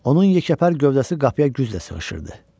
Onun yekəpər gövdəsi qapıya güclə sığışırdı.